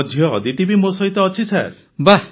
ମୋ ଝିଅ ଅଦିତି ବି ମୋ ସହିତ ଅଛି ସାର୍